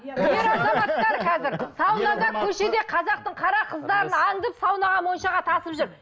ер азаматтар қазір саунада көшеде қазақтың қара қыздарын аңдып саунаға моншаға тасып жүр